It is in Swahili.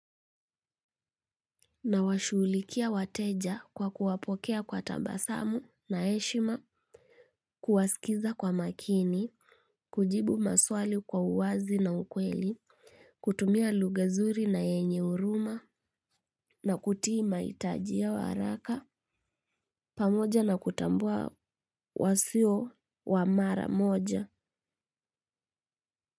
Na washughulikia wateja kwa kuwapokea kwa tabasamu na heshima, kuwasikiza kwa makini, kujibu maswali kwa uwazi na ukweli, kutumia lugha zuri na yenye huruma, na kutii mahitajia yao haraka, pamoja na kutambua wasio wamara moja.